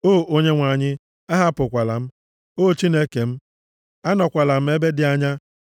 O Onyenwe anyị, ahapụkwala m; O Chineke m, anọkwala m ebe dị anya.